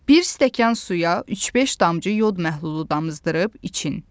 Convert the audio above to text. Bir stəkan suya 3-5 damcı yod məhlulu damızdırıb için.